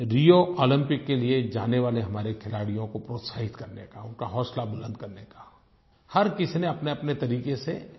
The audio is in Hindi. रियो ओलम्पिक के लिए जाने वाले हमारे खिलाड़ियों को प्रोत्साहित करने का उनका हौसला बुलंद करने का हर किसी ने अपनेअपने तरीक़े से